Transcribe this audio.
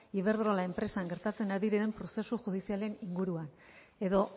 iberdrola enpresan gertatzen ari diren prozesu judizialen inguruan edo